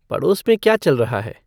पड़ोस में क्या चल रहा है